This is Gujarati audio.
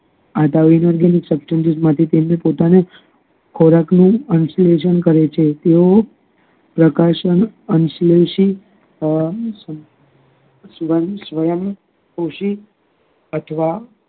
આગાહી માંથી શક્તિ પોતાના નું ખોરાક નુ અન્સ્લેશન કરે છે તેઓ પ્રકાશી અનલેષીત અમ સ્વયં પોષી અથવા